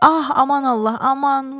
Ah aman Allah, aman.